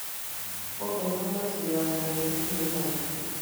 kogeny komeche koamtoi kotinyei imanda